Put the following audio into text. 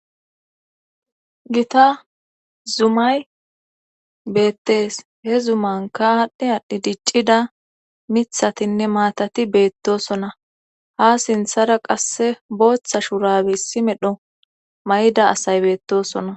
gita zumay beettees he zumanka adhdhi adhi diccida mithatinne maatati beettosona ha sinthara qasse booththa shurabissi medho may7ida asay beettosona